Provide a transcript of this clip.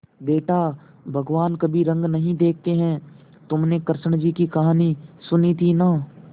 बेटा भगवान कभी रंग नहीं देखते हैं तुमने कृष्ण जी की कहानी सुनी थी ना